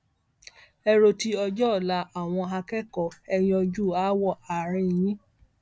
ẹ ro ti ọjọ ọla àwọn akẹkọọ ẹ yanjú aáwọ àárín yín